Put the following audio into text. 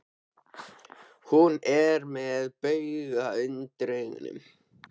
Hún er með bauga undir augunum.